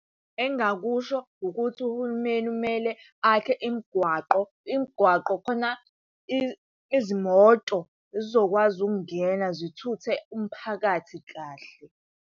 Engingakusho ukuthi uhulumeni kumele akhe imigwaqo, imigwaqo khona izimoto zizokwazi ukungena zithuthe umphakathi kahle.